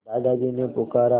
दादाजी ने पुकारा